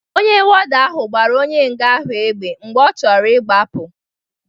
Ọnye wọda ahụ gbara onye nga ahụ égbè mgbe ọ choro ị gbapu.